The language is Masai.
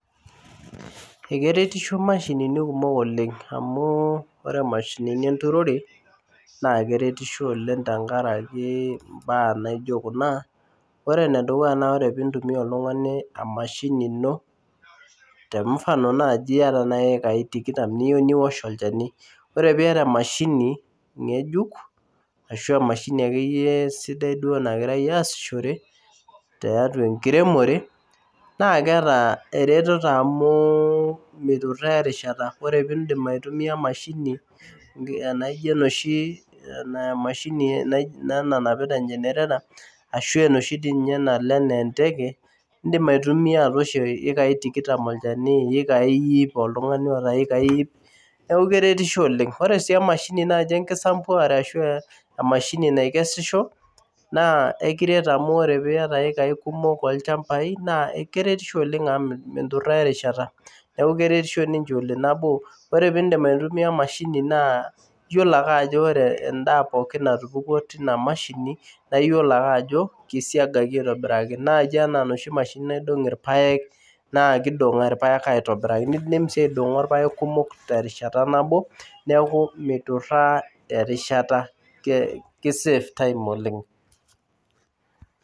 Ekeretisho imashini kumok oleng' amu ore imashini enturore naa keretisho oleng' amu tenkaraki imbaa naijio kuna ore enedukuya naa keitumiya oltung'ani emashini ino te mfano naaji iyata naaji iikai tikitam niyieu niwosh olchani ore piata emashini ng'ejuk ashua emashini akeyie sidai duo nagirai aasishore tiatua enkiremore naa keeta eretero amu meituraa eerishata ore peindip atumiya emashini enaijio enoshi naa emashini nanapita engenere ataashua enosho nalo enaa enteke indiim aitumiya atooshie iikae iip neeku keretisho oleng' sii naji emashini enkisampuare ashu enoshi naikesisho naa ekiret amu ore piata iiikae kumok olchambai naa keretisho oleng' amu minturaa erishara ore peindip aitumiya emashini naa iyiolo ake ajo ore endaa natupukuo naa tina mashini naa iyiolo ake. Ajo keisiagaki aitobiraki enaa naaji inoshi naidong' irpaek naa keisiaga ake aitobiraki nindiip sii aiding'o irpaek terishata nabo neeku meituraa erishata kei save time oleng'